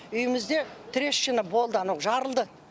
үйімізде трещина болды анау жарылды